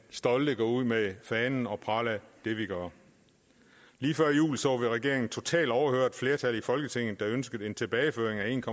stolte ud med fanen og prale af det vi gør lige før jul så vi at regeringen totalt overhørte et flertal i folketinget der ønskede en tilbageføring